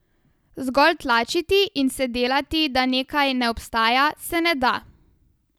Zgolj tlačiti in se delati, da nekaj ne obstaja, se ne da.